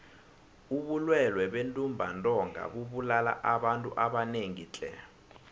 ubulwele bentumbantonga bubulala abantu abanengi tle